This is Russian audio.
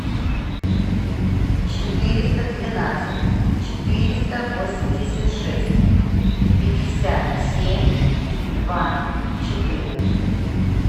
четыреста двенадцать четыреста восемьдесят шесть пятьдесят семь два четыре